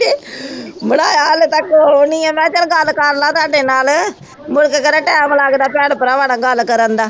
ਬਣਾਇਆ ਹਲੇ ਤਕ ਉਹ ਨੀ ਹੈ ਮਹਾ ਚਲ ਗੱਲ ਕਰਲਾ ਤਾਡੇ ਨਾਲ ਮੁੜਕੇ ਕੇਹੜਾ ਟੈਮ ਲਗਦਾ ਭੈਣ ਭਰਾਵਾਂ ਨਾਲ ਗੱਲ ਕਰਨ ਦਾ